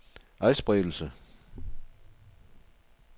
adspredelse